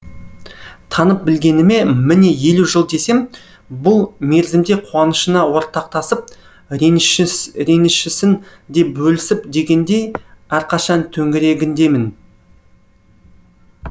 танып білгеніме міне елу жыл десем бұл мерзімде қуанышына ортақтасып ренішісін де бөлісіп дегендей әрқашан төңірегіндемін